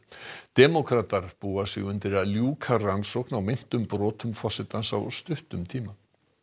demókratar búa sig undir að ljúka rannsókn á meintum brotum forsetans á stuttum tíma